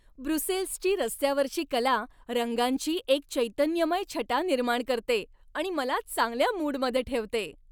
ब्रुसेल्सची रस्त्यावरची कला रंगांची एक चैतन्यमय छटा निर्माण करते आणि मला चांगल्या मूडमध्ये ठेवते.